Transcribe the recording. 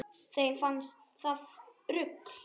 Þeim fannst það rugl